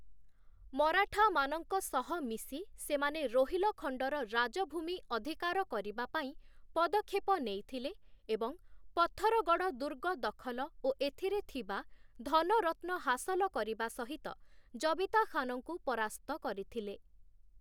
ମରାଠାମାନଙ୍କ ସହ ମିଶି ସେମାନେ ରୋହିଲଖଣ୍ଡର ରାଜ-ଭୂମି ଅଧିକାର କରିବା ପାଇଁ ପଦକ୍ଷେପ ନେଇଥିଲେ ଏବଂ ପଥରଗଡ଼଼ ଦୁର୍ଗ ଦଖଲ ଓ ଏଥିରେ ଥିବା ଧନରତ୍ନ ହାସଲ କରିବା ସହିତ ଜବିତା ଖାନଙ୍କୁ ପରାସ୍ତ କରିଥିଲେ ।